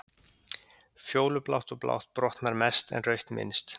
Fjólublátt og blátt brotnar mest en rautt minnst.